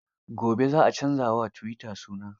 Gobe za a canza wa tuwita suna.